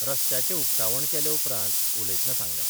रस्त्याचे उक्तावण केले उपरांत उलयतना सांगले.